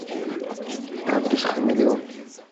адрес хамелеон